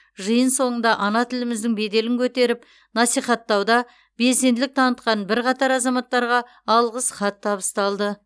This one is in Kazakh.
жиын соңында ана тіліміздің беделін көтеріп насихаттауда белсенділік танытқан бірқатар азаматтарға алғыс хат табысталды